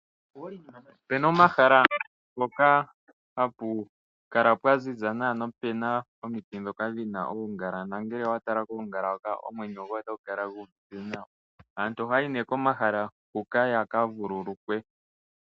Opena omahala ngoka hapu kala pwa ziza nawa, nopena omiti dhoka dhina uungala nongele owatala kuungala hoka omwenyo gwoye otagu kala guuvite nawa. Aantu ohaayi nee komahala huka yaka vululukwe.